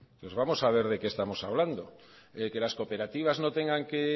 pues vamos a ver de qué estamos hablando de que las cooperativas no tengan que